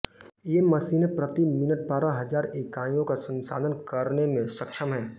ये मशीनें प्रति मिनट बारह हज़ार इकाइयों का संसाधन करने में सक्षम हैं